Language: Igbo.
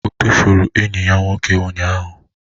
Ọ tụfuru enyi ya nwoke ụnyahụ?